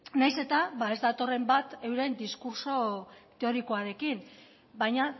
nahiz eta ez datorren bat euren diskurtso teorikoarekin baina